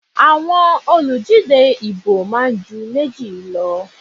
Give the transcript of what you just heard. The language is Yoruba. Àwọn olùdíje ìbò máa ń ju méjì lọ.